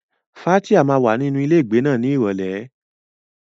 Fathia máa wà nínú ilé ìgbé náà ní Ìrọ̀lẹ́.